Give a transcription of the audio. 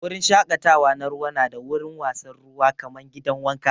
Wurin shakatawa na ruwa na da wurin wasan ruwa kaman gidan wanka.